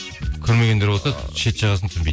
көрмегендер болса шет жағасын түсінбейді